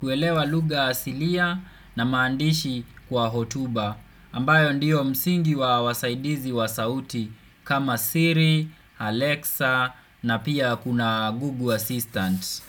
kuelewa luga asilia na maandishi kwa hotuba ambayo ndiyo msingi wa wasaidizi wa sauti kama siri, Alexa na pia kuna Google Assistant.